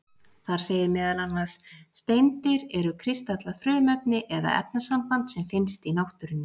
Þar segir meðal annars: Steindir eru kristallað frumefni eða efnasamband sem finnst í náttúrunni.